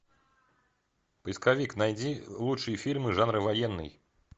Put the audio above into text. поисковик найди лучшие фильмы жанра военный